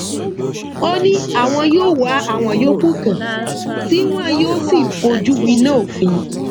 ó ní àwọn yóò wá àwọn yòókù kàn tí wọn yóò sì fojú winá òfin